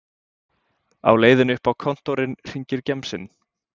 Á leiðinni upp á kontórinn hringir gemsinn